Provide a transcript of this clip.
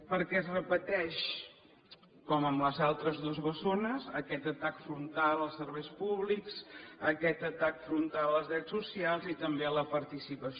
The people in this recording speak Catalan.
perquè es repeteix com amb les altres dues bessones aquest atac frontal als serveis públics aquest atac frontal als drets socials i també a la participació